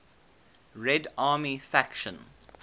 red army faction